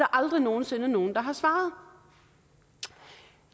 aldrig nogen sinde nogen der har svaret